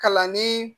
Kalanni